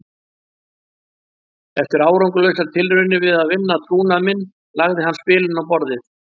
Eftir árangurslausar tilraunir til að vinna trúnað minn lagði hann spilin á borðið.